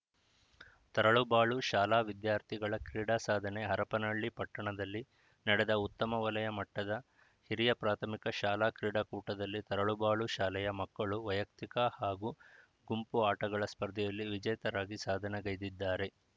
ತರಳಬಬಾಳು ಶಾಲಾ ವಿದ್ಯಾರ್ಥಿಗಳ ಕ್ರೀಡಾಸಾಧನೆ ಹರಪನಹಳ್ಳಿ ಪಟ್ಟಣದಲ್ಲಿ ನಡೆದ ಉತ್ತಮ ವಲಯ ಮಟ್ಟದ ಹಿರಿಯ ಪ್ರಾಥಮಿಕ ಶಾಲಾ ಕ್ರೀಡಾಕೂಟದಲ್ಲಿ ತರಳಬಾಳು ಶಾಲೆಯ ಮಕ್ಕಳು ವೈಯಕ್ತಿಕ ಹಾಗೂ ಗುಂಪು ಆಟಗಳ ಸ್ಪರ್ಧೆಯಲ್ಲಿ ವಿಜೇತರಾಗಿ ಸಾಧನೆಗೈದಿದ್ದಾರೆ